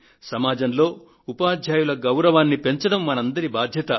సమాజంలో ఉపాధ్యాయుల గౌరవాన్ని పెంచడం మనందరి బాధ్యత